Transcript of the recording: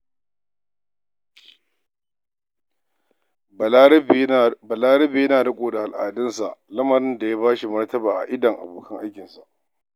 Balarabe yana riƙo da al'adunsa, lamarin da ya ba shi martaba a idon abokan aikinsa.